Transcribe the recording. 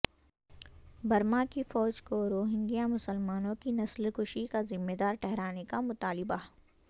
Burma کی فوج کو روہنگیا مسلمانوں کی نسل کشی کا ذمہ دار ٹہرانے کا مطالبہ